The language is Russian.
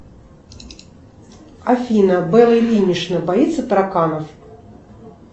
афина белла ильинична боится тараканов